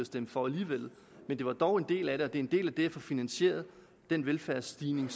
stemme for alligevel men den er dog en del af det og en del af det at få finansieret den velfærdsstigning